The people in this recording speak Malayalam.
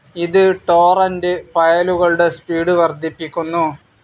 ഇത് ടോറന്റ്‌ ഫയലുകളുടെ സ്പീഡ്‌ വർധിപ്പിക്കുന്നു.